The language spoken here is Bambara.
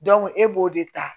e b'o de ta